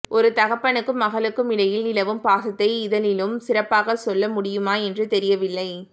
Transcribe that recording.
ஒரு தகப்பனுக்கும் மகளுக்கும் இடையில் நிலவும் பாசத்தை இதனிலும் சிறப்பாகச் சொல்ல முடியுமா என்று தெரியவில்லை